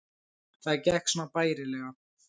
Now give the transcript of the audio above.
Það gekk svona bærilega